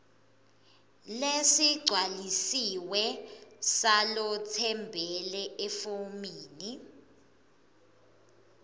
lesigcwalisiwe salotsembele efomini